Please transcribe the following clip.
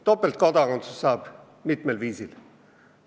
Topeltkodakondsust saab mitmel viisil.